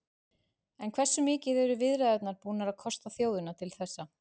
En hversu mikið eru viðræðurnar búnar að kosta þjóðina til þessa?